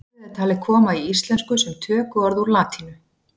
Orðið er talið komið í íslensku sem tökuorð úr latínu.